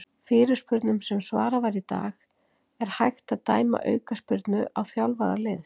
Fyrirspurnum sem svarað var í dag:- Er hægt að dæma aukaspyrnu á þjálfara liðs?